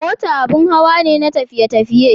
Mota abin hawa ne na tafiye-tafiye.